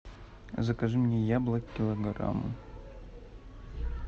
закажи мне яблок килограмм